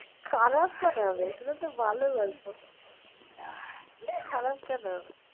খারাপ কেন হবে এগুলো তো ভালো গল্প খারাপ কেন হবে